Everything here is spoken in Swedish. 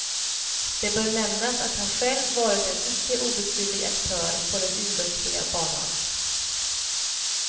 Det bör nämnas att han själv varit en icke obetydlig aktör på den idrottsliga banan.